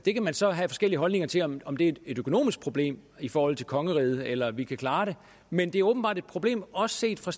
så have forskellige holdninger til om om det er et økonomisk problem i forhold til kongeriget eller om vi kan klare det men det er åbenbart et problem også set fra